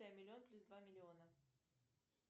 миллион плюс два миллиона